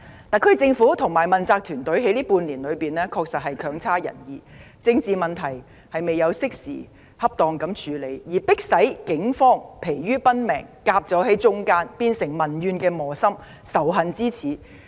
特區政府和問責團隊在這半年內的表現確實不濟，沒有適時恰當地處理政治問題，害得警方疲於奔命，左右為難，變成民怨磨心及仇恨之始。